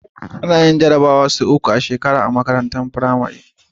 Ana yin jarabawa sau uku a shekaga a makarantar pramari